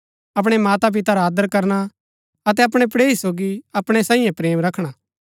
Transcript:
अपणै माता पिता रा आदर करना अतै अपणै पड़ेही सोगी अपणै साईयें प्रेम रखना